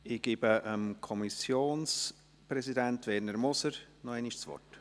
Ich gebe dem Kommissionspräsidenten, Werner Moser, noch einmal das Wort.